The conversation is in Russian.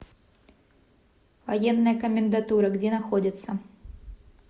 военная комендатура где находится